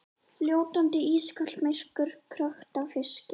Fljótandi, ískalt myrkur, krökkt af fiski.